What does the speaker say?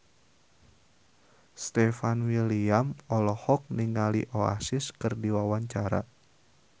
Stefan William olohok ningali Oasis keur diwawancara